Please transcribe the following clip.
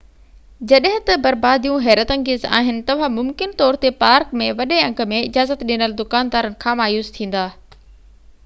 جڏهن ته برباديون حيرت انگيز آهن توهان ممڪن طور تي پارڪ ۾ وڏي انگ ۾ اجازت ڏنل دڪاندارن کان مايوس ٿيندا